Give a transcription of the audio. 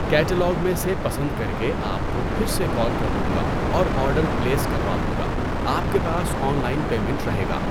Catalogue میں سے پسند کر کے آپ کو پھر سے کال کر لوں گا اور آرڈر پلیس کروا دوں گا۔ آپ کے پاس آن لائن پیمنٹ رہے گا۔